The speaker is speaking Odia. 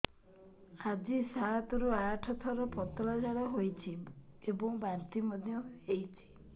ଆଜି ସାତରୁ ଆଠ ଥର ପତଳା ଝାଡ଼ା ହୋଇଛି ଏବଂ ବାନ୍ତି ମଧ୍ୟ ହେଇଛି